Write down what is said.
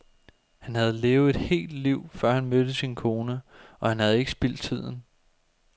Han havde levet et helt liv, før han mødte sin kone, og han havde ikke spildt tiden.